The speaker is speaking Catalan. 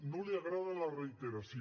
no li agrada la reiteració